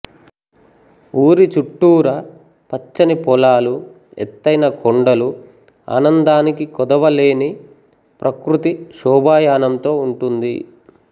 ఊరి చుట్టూరా పచ్చని పోలాలు ఎతైన కోండలు అనందానికి కోదవలేని ప్రకృతి శోభాయానంతో ఉంటుంది